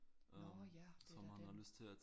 Nåh ja det da den